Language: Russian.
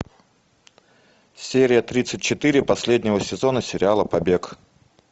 серия тридцать четыре последнего сезона сериала побег